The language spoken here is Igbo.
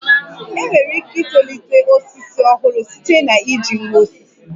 I nwere ike itolite osisi ọhụrụ site na iji nwa osisi